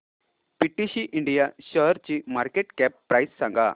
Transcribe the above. PTC India शेअरची market cap price सांगा